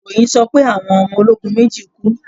ìròyìn sọ pé Àwọn ọmọ ologun méjì kú.